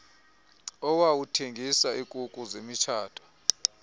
owawuthengisa ikuku zemitshato